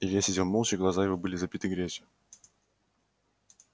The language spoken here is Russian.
илья сидел молча глаза его были забиты грязью